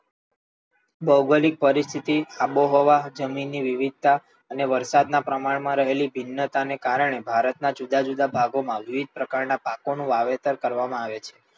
ભૌગોલિક પરિસ્થિતિ, આબોહવા, જમીનની વિવિધતા અને વરસાદ ના પ્રમાણ માં રહેલી ભિન્નતા ને કારણે ભારત ના જુદા જુદા ભાગો માં વિવિધ પ્રકાર ના પાકો નું વાવેતર કરવામાં આવે છે.